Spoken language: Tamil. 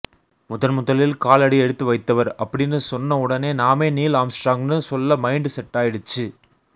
முதன்முதலில் காலடி எடுத்து வைத்தவர் அப்படின்னு சொன்னவுடனே நாமே நீல் ஆம்ஸ்ட்ராங்னு சொல்ல மைன்ட் செட்டாயிடுச்சு